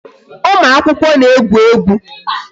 Ụmụ akwụkwọ na-egwu egwu